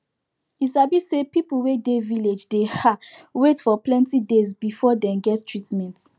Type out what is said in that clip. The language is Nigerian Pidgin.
you sabi say people wey dey village dey ah wait for plenti days before dem get treatment